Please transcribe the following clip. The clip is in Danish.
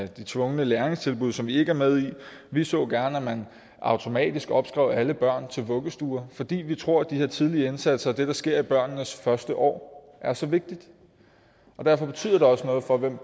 de tvungne læringstilbud som vi ikke er med i vi så gerne at man automatisk opskrev alle børn til vuggestuer fordi vi tror at de her tidlige indsatser og at det der sker i børnenes første år er så vigtigt derfor betyder det også noget for hvem